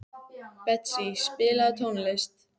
Betsý, spilaðu tónlist.